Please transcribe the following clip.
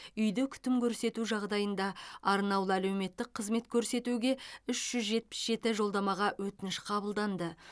үйде күтім көрсету жағдайында арнаулы әлеуметтік қызмет көрсетуге үш жүз жетпіс жеті жолдамаға өтініш қабылданды